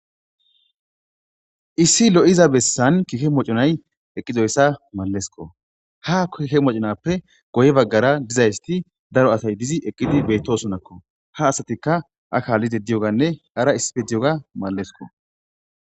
Issi lo7iza bessan kike mocconay eqizoyssa mallesikko. Ha kiike mocconape guye bagara dizayisi daro asay didi eqizi beetosona. Ha asatika a kaalide diyoganne ara issipe diyoga maleskko.